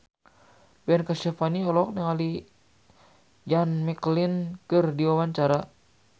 Ben Kasyafani olohok ningali Ian McKellen keur diwawancara